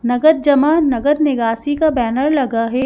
नगद जमा नगद निगासी का बैनर लगा है।